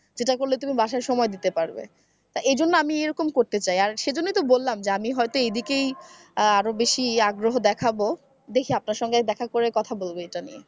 সেটা করলে তুমি বাসায় সময় দিতে পারবে এজন্যই আমি এরকম করতে চাই আর সেজন্যই তো বললাম যে আমি হয়তো এদিকেই আরো বেশি আগ্রহ দেখাবো দেখি আপনার সঙ্গে দেখা করে কথা বলব এটা নিয়ে।